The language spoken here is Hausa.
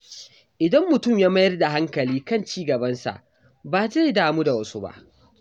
Idan mutum ya mayar da hankali kan ci gabansa, ba zai damu da wasu ba.